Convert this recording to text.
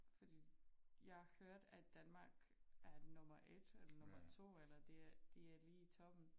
Fordi jeg hørte at Danmark er nummer 1 eller nummer 2 eller det er de er lige i toppen